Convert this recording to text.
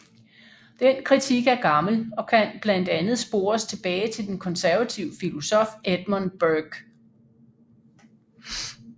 Den kritik er gammel og kan blandt andet spores tilbage til den konservative filosof Edmund Burke